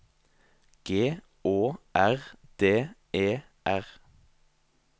G Å R D E R